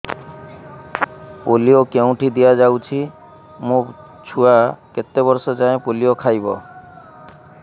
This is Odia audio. ପୋଲିଓ କେଉଁଠି ଦିଆଯାଉଛି ମୋ ଛୁଆ କେତେ ବର୍ଷ ଯାଏଁ ପୋଲିଓ ଖାଇବ